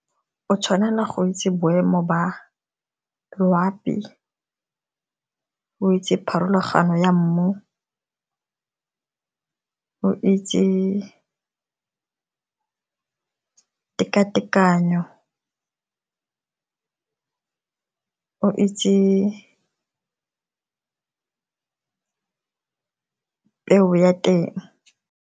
O tshwanela go itse boemo ba loapi, o itse pharologano ya mmu, o itse tekatekanyo, o itse peu ya teng.